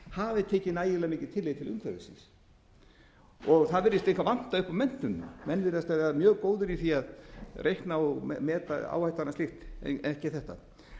hafi tekið nægilega mikið tillit til umhverfisins það virðist líka vanta upp á menntunina menn virðast vera mjög góðir í því að reikna og meta áhættuna og slíkt en ekki þetta